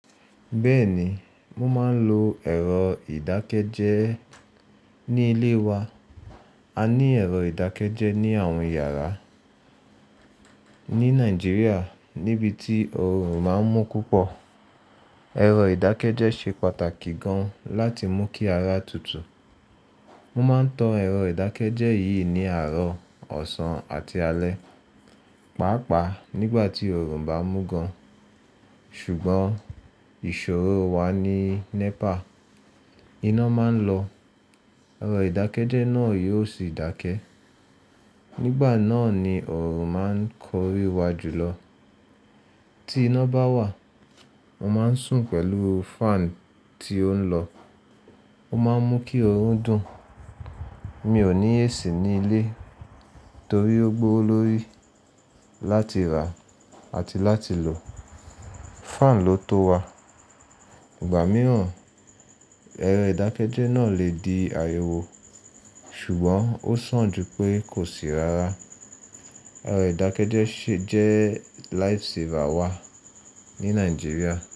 Bẹ́ẹ̀ ni, mo máa ń lo ẹ̀rọ ìdákẹ́jẹ́ ní ilé wa. A ní ẹ̀rọ ìdákẹ́jẹ́ ní àwọn yàrá. Ní Nàìjíríà níbi tí òorùn máa ń mú púpọ̀, ẹ̀rọ ìdákẹ́jẹ́ ṣe pàtàkì gan láti mú kí ara tutù. Mo máa ń tan ẹ̀rọ ìdákẹ́jẹ́ yìí ní àárọ̀, ọ̀sán àti alẹ́, pàápàá nígbà tí oòrùn bá mú gan. Ṣùgbọ́n ìṣòro wa ni NEPA, iná máa ń lọ, ẹ̀rọ ìdákẹ́jẹ́ náà yóò sì dákẹ́. Nígbà náà ni òorùn máa ń korí wa jù lọ. Tí iná bá wà, mo máa ń sùn pẹ̀lú fan tí ó ń lọ, ó máa ń mú kí òórùn dùn. Mi ò ní AC ní ilé torí ó gbówo lórí láti rà àti láti lò. Fan ló tó wa. Ìgbà mìíràn ẹ̀rọ ìdákẹ́jẹ́ náà lè di ariwo, ṣùgbọ́n ó sàn ju pé kò sì rára. Ẹ̀rọ ìdákẹ́jẹ́ si jẹ́ lifesaver wa ní Nàìjíríà.